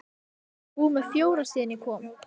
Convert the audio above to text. Hún fer að stílfæra mannamyndir sínar.